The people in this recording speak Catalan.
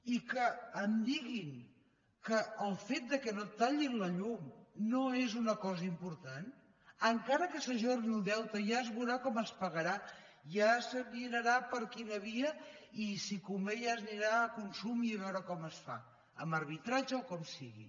i que em diguin que el fet que no et tallin la llum no és una cosa important encara que s’ajorni el deute ja és veurà com es pagarà ja se mirarà per quina via i si convé ja s’anirà a consum i a veure com es fa amb arbitratge o com sigui